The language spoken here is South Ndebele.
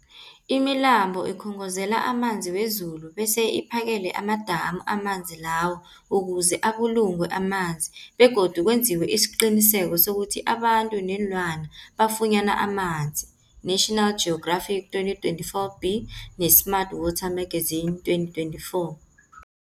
Imilambo ikhongozela amanzi wezulu bese iphakele amadamu amanzi lawo ukuze abulungwe amanzi begodu kwenziwe isiqiniseko sokuthi abantu neenlwana bafunyana amanzi, National Geographic 2024b, ne-Smart Water Magazine 2024.